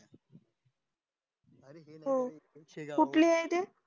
हम्म कुठली ये ती